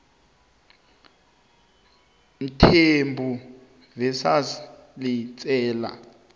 mthembu v letsela